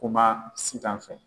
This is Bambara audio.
Kuma Sitan fɛ